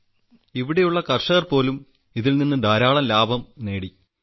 sir ഇവിടെയുള്ള കർഷകർപോലും ഇതിൽനിന്ന് ധാരാളം ലാഭം നേടി